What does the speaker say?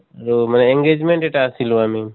আৰু engagement এটা আছলো আমি